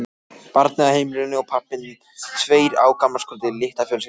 Barnið á heimilinu og pabbinn, tveir á gamlárskvöldi, litla fjölskyldan.